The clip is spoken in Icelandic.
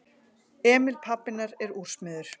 Emil pabbi hennar er úrsmiður.